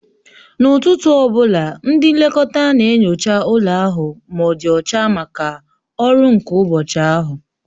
N'ụtụtụ ọ bụla, ndị nlekọta na-enyocha ụlọ ahụ ma ọ dị ọcha maka ọrụ nke ụbọchị ahụ